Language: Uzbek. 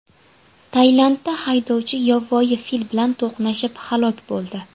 Tailandda haydovchi yovvoyi fil bilan to‘qnashib, halok bo‘ldi.